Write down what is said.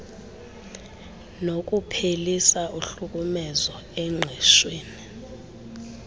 nokuphelisa uhlukumezo engqeshwen